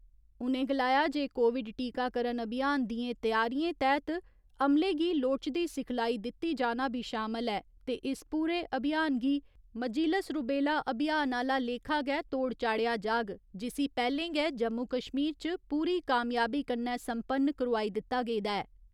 उ'नें गलाया जे कोविड टीकाकरण अभियान दिएं तैयारिएं तैह्त अमले गी लोड़चदी सिखलाई दित्ता जाना बी शामल ऐ ते इस पूरे अभियान गी मजीलस रूबेला अभियान आह्‌ला लेखा गै तोढ़ चाढ़ेआ जाग जिसी पैह्‌लें गै जम्मू कश्मीर च पूरी कामयाबी कन्नै संपन्न करोआई दित्ता गेदा ऐ।